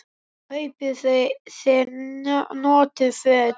Kaupi þú þér notuð föt?